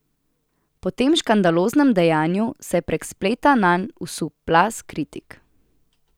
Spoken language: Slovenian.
Po tem škandaloznem dejanju se je prek spleta nanj usul plaz kritik.